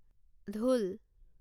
ঢোল